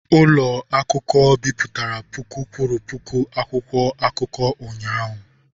Ụlọ akụkọ bipụtara puku kwuru puku akwụkwọ akụkọ ụnyahụ.